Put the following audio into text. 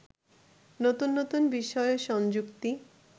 নতুন নতুন বিষয় সংযুক্তি